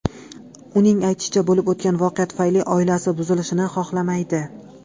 Uning aytishicha, bo‘lib o‘tgan voqea tufayli oilasi buzilishini xohlamaydi.